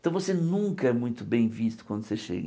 Então você nunca é muito bem visto quando você chega.